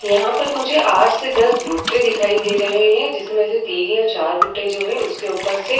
यहाँ पर मुझे आठ से दस भुट्टे दिखाई दे रहे हैं जिसमे से तीन या चार भुट्टे जो हैं उसके ऊपर से --